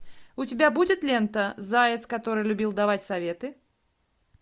у тебя будет лента заяц который любил давать советы